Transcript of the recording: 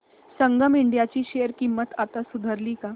संगम India ची share किंमत आता सुधारली का